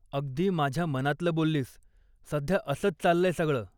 अगदी माझ्या मनातलं बोललीस, सध्या असंच चाललंय सगळ.